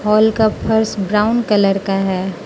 Hall का फर्श brown colour का है।